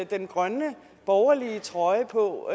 den grønne borgerlige trøje på